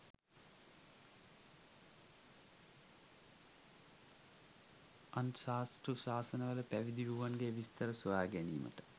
අන් සාස්තෘශාසන වල පවිදිවුවන්ගේ විස්තර සොයාගැනීමට